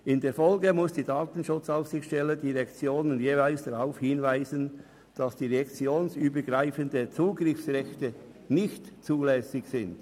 In der Folge muss die DSA die Direktionen jeweils darauf hinweisen, dass direktionsübergreifende Zugriffsrechte nicht zulässig sind.